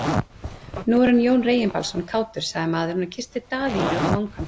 Nú er hann Jón Reginbaldsson kátur, sagði maðurinn og kyssti Daðínu á vangann.